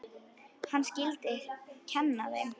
Hann skyldi kenna þeim.